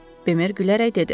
Bemer gülərək dedi.